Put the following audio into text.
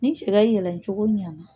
Ni cɛ ka yɛlɛ cogo ɲana